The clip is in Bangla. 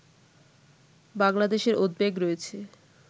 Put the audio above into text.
বাংলাদেশের উদ্বেগ রয়েছে